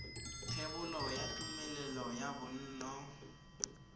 thebolo ya tumelelo ya bonno